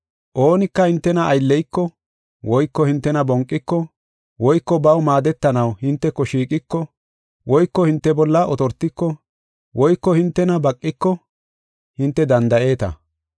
Oonika hintena aylleyiko woyko hintena bonqiko woyko baw maadetanaw hinteko shiiqiko woyko hinte bolla otortiko woyko hintena baqiko hinte danda7eeta.